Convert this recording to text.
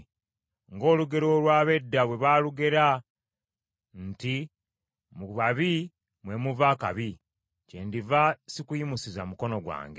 Ng’olugero olw’ab’edda bwe baalugera nti, ‘Mu babi mwe muva akabi,’ kyendiva sikuyimusiza mukono gwange.